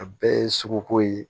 A bɛɛ ye suguko ye